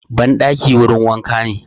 Ban ɗaki wurin wanka ne